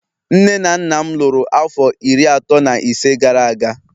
Nne na nna m lụrụ afọ iri atọ na ise gara aga